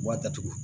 U b'a datugu